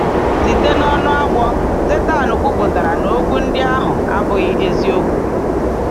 Site n’ọnụ agwọ̀, Sátán kwuputara na okwu ndị ahụ abụghị eziokwu.